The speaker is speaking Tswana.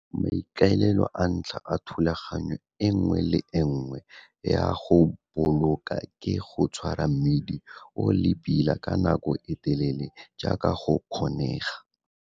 Maikaelelo a ntlha a thulaganyo e nngwe le e nngwe ya go boloka ke go tshwara mmidi o le pila ka nako e telele jaaka go kgonega.